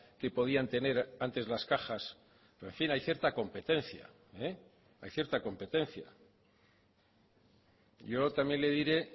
que podían tener antes las cajas pero en fin hay cierta competencia hay cierta competencia yo también le diré